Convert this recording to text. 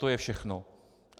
To je všechno.